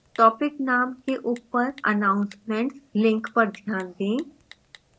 topic names के ऊपर announcements link पर ध्यान दें